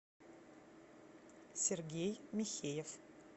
сергей михеев